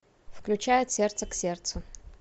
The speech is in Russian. включай от сердца к сердцу